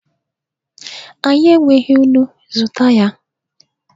Anyị enweghị nnu! zụta ya